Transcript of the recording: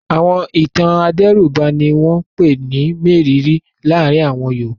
Àwọn ìtàn adẹ́rùbani ni wọ́n ń pè ní mérìíìírí láàárin àwọn Yorùbá.